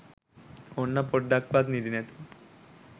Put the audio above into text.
ඔන්න පොඩ්ඩක්වත් නිදිනැතිව